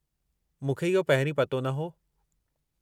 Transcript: मूं खे इहो पहिरी पतो न हो।